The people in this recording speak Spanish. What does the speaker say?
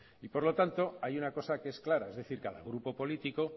ampliable y por lo tanto hay una cosa que es clara es decir cada grupo político